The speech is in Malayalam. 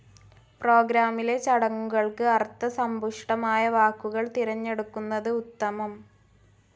പ്രോഗ്രാമിലെ ചടങ്ങുകൾക്ക് അർത്ഥസംപുഷ്ടമായ വാക്കുകൾ തിരഞ്ഞെടുക്കുന്നത് ഉത്തമം.